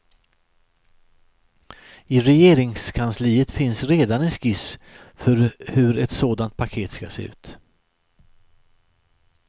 I regeringskansliet finns redan en skiss för hur ett sådant paket ska se ut.